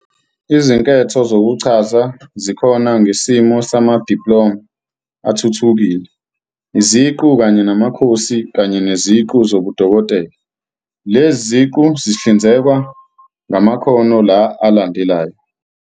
Izinketho zokuchaza zikhona ngesimo samadiploma athuthukile, iziqu kanye namakhosi kanye neziqu zobudokotela. Lezi ziqu zihlinzekwa ngamakhono la alandelayo.